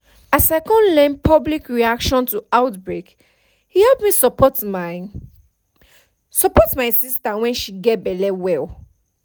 as i come learn public reaction to outbreake help me support my support my sister when she gets belle well